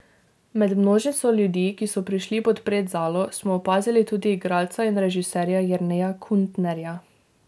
Med množico ljudi, ki so prišli podpret Zalo, smo opazili tudi igralca in režiserja Jerneja Kuntnerja.